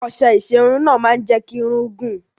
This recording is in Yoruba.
Ọṣẹ ìṣerun náà máa ń jẹ́ kí irun gùn.